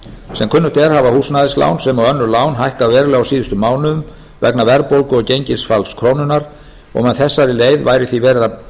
sem kunnugt er hafa húsnæðislán sem og önnur lán hækkað verulega á síðustu mánuðum vegna verðbólgu og gengisfalls krónunnar og með þessari leið væri því verið að